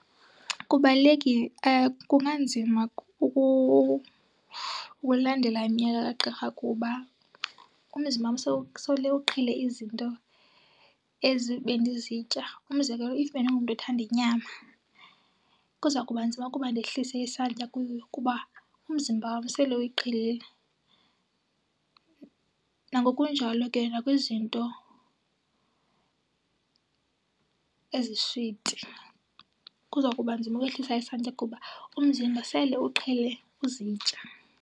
Kubalulekile kunganzima ukulandela imiyalelo kagqirha kuba umzimba wam sele uqhele izinto ezi bendizitya. Umzekelo, if bendingumntu othanda inyama kuza kuba nzima ukuba ndehlise isantya kuyo kuba umzimba wam sele uyiqhelile. Nangokunjalo ke nakwizinto eziswiti kuza kuba nzima ukwehlisa isantya kuba umzimba sele uqhele uzitya.